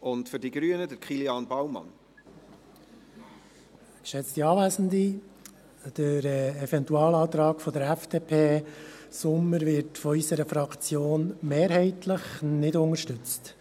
Der Eventualantrag FDP/Sommer wird von unserer Fraktion mehrheitlich nicht unterstützt.